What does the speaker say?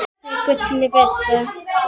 Gott buff er gulli betra.